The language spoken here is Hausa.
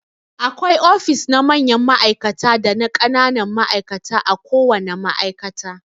Akwai ofis na mayan ma'aikata dana ƙananan ma'aikata a ko wana ma'aikata.